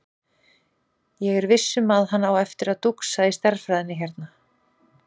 Ég er viss um að hann á eftir að dúxa í stærðfræðinni hérna.